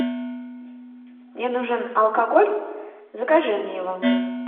мне нужен алкоголь закажи мне его